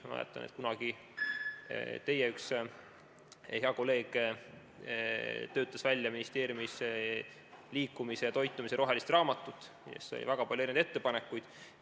Ma mäletan, et kunagi üks teie hea kolleeg töötas ministeeriumis välja liikumise ja toitumise rohelist raamatut ja sai väga palju ettepanekuid.